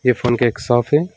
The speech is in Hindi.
ये फोन का एक शॉप है।